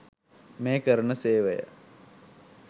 මේ කරන සේවය